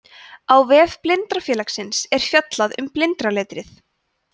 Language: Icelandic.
á vef blindrafélagsins er fjallað um blindraletrið